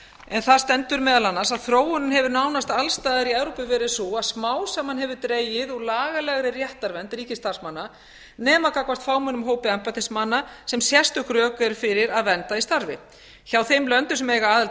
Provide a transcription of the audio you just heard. en þar stendur meðal annars að þróunin hefur nánast alls staðar í evrópu verið sú að smám saman hefur dregið úr lagalegri réttarvernd ríkisstarfsmanna nema gagnvart fámennum hópi embættismanna sem sérstök rök eru fyrir að vernda í starfi hjá þeim löndum sem eiga aðild að